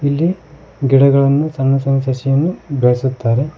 ಇಲ್ಲಿ ಗಿಡಗಳನ್ನು ಸಣ್ಣ ಸಣ್ಣ ಸಸಿಯನ್ನು ಬೆಳೆಸುತ್ತಾರೆ.